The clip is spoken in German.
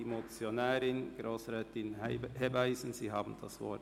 Die Motionärin, Grossrätin Hebeisen, hat das Wort.